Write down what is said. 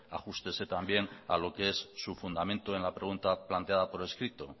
ajústese también a lo que es su fundamento en la pregunta planteada por escrito